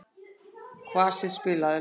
Kvasir, spilaðu lag.